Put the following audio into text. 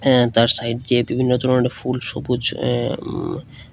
তার সাইড দিয়ে বিভিন্ন ধরনের ফুল সবুজ এ উ--